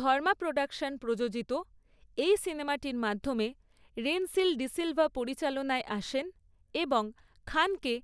ধর্মা production প্রযোজিত এই সিনেমাটির মাধ্যমে রেনসিল ডিসিলভা পরিচালনায় আসেন এবং খানকে